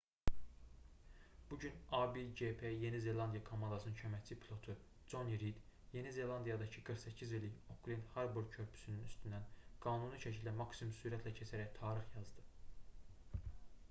bu gün a1gp yeni zelandiya komandasının köməkçi pilotu coni rid yeni zelandiyadakı 48 illik oklend harbor körpüsünün üstündən qanuni şəkildə maksimum sürətlə keçərək tarix yazdı